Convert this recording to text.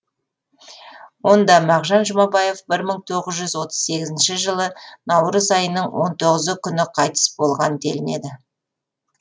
онда мағжан жұмабаев бір мың тоғыз жүз отыз сегізінші жылы наурыз айының он тоғызы күні қайтыс болған делінеді